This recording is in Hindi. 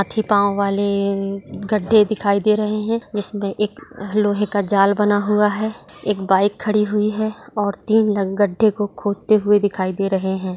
अक्की पाव वाले गड्डे दिखाई दे रहे है जिसमे एक लोहे का जाल बना हुआ है एक बाइक खड़ी हुई है और तीन लोग गड्डे को खोदते हुए दिखाई दे रहे है।